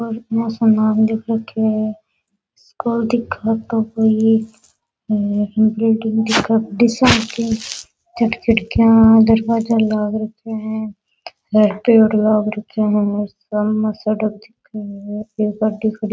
और खिड़कियां दरवाजा लाग रखे है एक पेड़ लाग रखे है सामे सड़क दिखे है एक गाड़ी खड़ी --